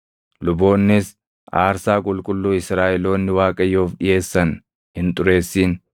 Luboonnis aarsaa qulqulluu Israaʼeloonni Waaqayyoof dhiʼeessan hin xureessin